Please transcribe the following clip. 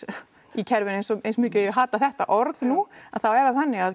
í kerfinu eins mikið og ég hata þetta orð nú en þá er það þannig að